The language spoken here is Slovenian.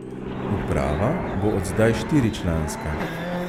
Uprava bo od zdaj štiričlanska.